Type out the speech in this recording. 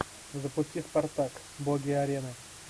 запусти спартак боги арены